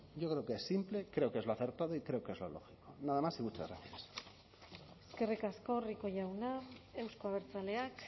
yo creo que es simple creo que es lo acertado y creo que es lo lógico nada más y muchas gracias eskerrik asko rico jauna euzko abertzaleak